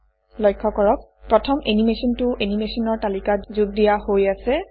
লক্ষ্য কৰক প্ৰথম এনিমেচনটো এনিমেচনৰ তালিকাত যোগ দিয়া হৈ আছে